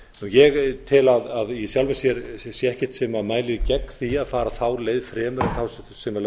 ég tel að í sjálfu sér mæli ekkert gegn því að fara þá leið fremur en þá sem lögð er til